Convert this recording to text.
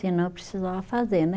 Senão eu precisava fazer, né